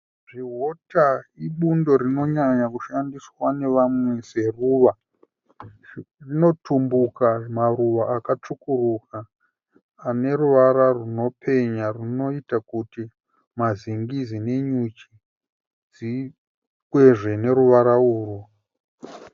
Zvihuta ibundo rinonyanya kushandiswa nevamwe seruva. Rinotumbuka maruva akatsvukuruka ane ruvara runopenya runoita kuti mazingizi nenyuchi zvikwezvewe neruvara urwu.